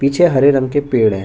पीछे हरे रंग के पेड़ है।